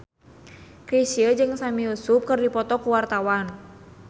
Chrisye jeung Sami Yusuf keur dipoto ku wartawan